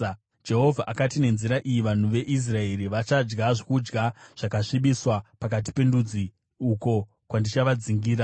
Jehovha akati, “Nenzira iyi, vanhu veIsraeri vachadya zvokudya zvakasvibiswa pakati pendudzi uko kwandichavadzingira.”